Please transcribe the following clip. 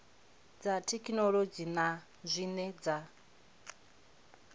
dza thekhinolodzhi na zwine dza